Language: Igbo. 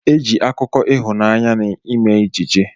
Eji akụkọ ihụnanya na ime ejije.